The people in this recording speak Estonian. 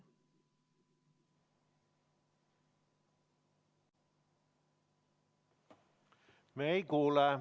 [Räägib, aga ei ole kuulda.